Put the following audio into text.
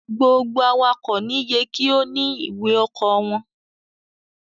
gbogbo awakọ̀ ni yé kí o ní ìwé oko wón.